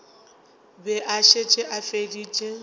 be a šetše a feditše